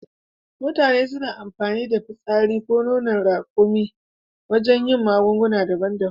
Mutane suna amfani da fitsarin raƙumi ko nonon raƙuma wajen yin magunguna daban daban